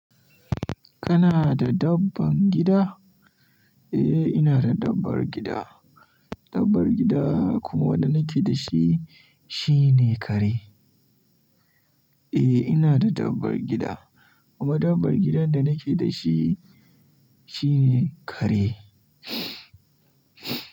Kana da dabban gida? Eh, ina da dabbar gida. Dabbar gida kuma wanda nake da shi, shine kare. Eh, ina da dabbar gida kuma dabbar gidan da nake da shi, shine kare.